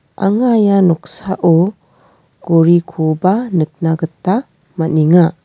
anga ia noksao gorikoba nikna gita man·enga.